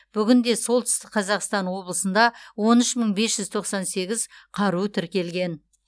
бүгінде солтүстік қазақстан облысында он үш мың бес жүз тоқсан сегіз қару тіркелген